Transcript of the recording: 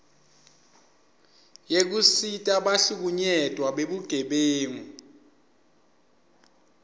yekusita bahlukunyetwa bebugebengu